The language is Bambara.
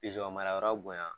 marayɔrɔ bonya